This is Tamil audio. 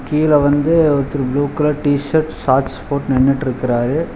கீழ வந்து ஒருத்தர் ப்ளூ கலர் டி_சர்ட் சாட்ஸ் போட் நின்னுட்ருக்கறாரு.